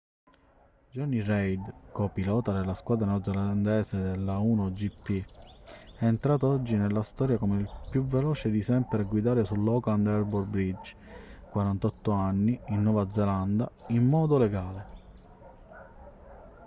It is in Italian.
jonny reid co-pilota della squadra neozelandese dell'a1gp è entrato oggi nella storia come il più veloce di sempre a guidare sull'auckland harbour bridge 48 anni in nuova zelanda in modo legale